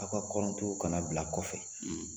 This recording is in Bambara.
Aw ka ka na bila kɔfɛ